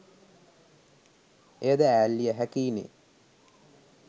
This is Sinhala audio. එයද ඈල්ලිය හෑකියි නේ.